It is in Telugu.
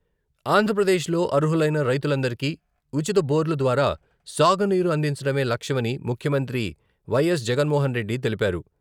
ఆంధ్రప్రదేశ్లో అర్హులైన రైతులందరికీ ఉచిత బోర్లు ద్వారా సాగునీరు అందించడమే లక్ష్యమని ముఖ్యమంత్రి వైఎస్ జగన్మోహన్రెడ్డి తెలిపారు.